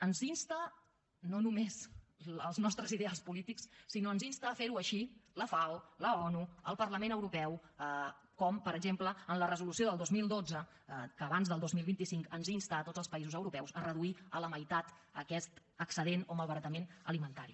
ens hi insten no només els nostres ideals polítics sinó que ens insten a ferho així la fao l’onu el parlament europeu com per exemple en la resolució del dos mil dotze que abans del dos mil vint cinc ens insta a tots els països europeus a reduir a la meitat aquest excedent o malbaratament alimentari